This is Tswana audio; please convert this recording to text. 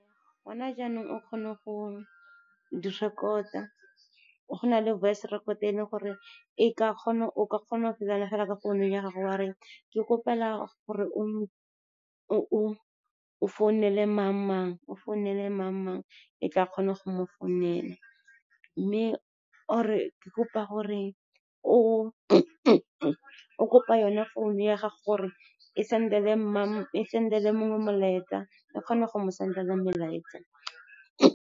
Gona jaanong, o kgone go direkota, go na le voice record e e leng gore o ka kgona fela ka founung ya gago. Wa re, ke kgopela gore o founele mang-mang, e tla kgona go mo founela. Or-e o kopa yona founu ya gago gore e send-ele mongwe molaetsa, e kgone go mo sendela melaetsa.